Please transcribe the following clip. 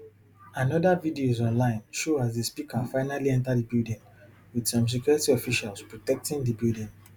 anoda videos online show as di speaker finally enta di building wit some security officials protecting di building